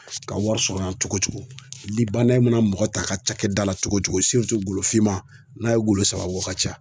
Ka wari sɔrɔ cogo cogo mana mɔgɔ ta a ka cakɛdala cogo cogo golo finman n'a ye golo saba bɔ o ka ca.